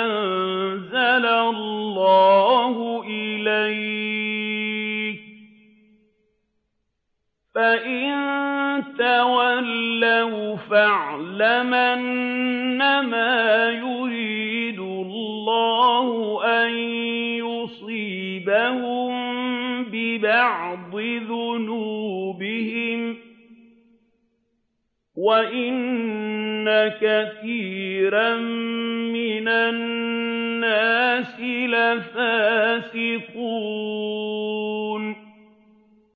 أَنزَلَ اللَّهُ إِلَيْكَ ۖ فَإِن تَوَلَّوْا فَاعْلَمْ أَنَّمَا يُرِيدُ اللَّهُ أَن يُصِيبَهُم بِبَعْضِ ذُنُوبِهِمْ ۗ وَإِنَّ كَثِيرًا مِّنَ النَّاسِ لَفَاسِقُونَ